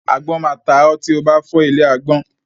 Agbọ́n máa ta ọ́ tí o bá fọ́ ilé agbọ́n.